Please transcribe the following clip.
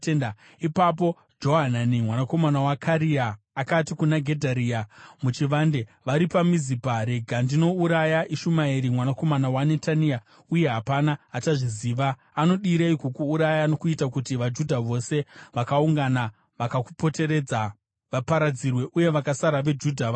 Ipapo Johanani mwanakomana waKarea akati kuna Gedharia muchivande vari paMizipa, “Rega ndinouraya Ishumaeri mwanakomana waNetania, uye hapana achazviziva. Anodirei kukuuraya nokuita kuti vaJudha vose vakaungana, vakakupoteredza, vaparadzirwe uye vakasara veJudha vaparare?”